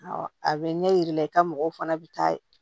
Awɔ a bɛ ɲɛ yira i la i ka mɔgɔw fana bɛ taa ye